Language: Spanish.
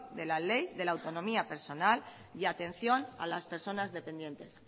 de la ley de la autonomía personal y atención a las personas dependientes